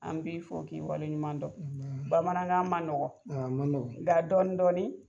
An b'i fɔ k'i wale ɲuman dɔn. Bamanankan man nɔgɔn, a man nɔgɔn nga dɔɔnin dɔɔnin